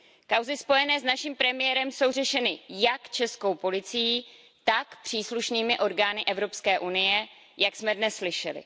Kauzy spojené s naším premiérem jsou řešeny jak českou policií, tak příslušnými orgány Evropské unie, jak jsme dnes slyšeli.